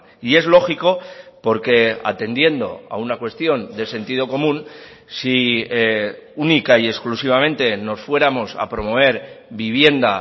y es lógico porque atendiendo a una cuestión de sentido común si única y exclusivamente nos fuéramos a promover vivienda